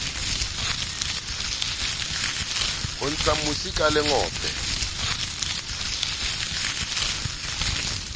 ho ntsha mosi ka lengope